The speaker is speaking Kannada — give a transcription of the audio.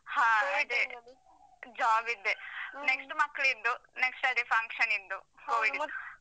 ಹ ಅದೇ. job ದ್ದೆ. next ಮಕ್ಳಿದ್ದು next ಅದೇ function ನಿದ್ದು. covid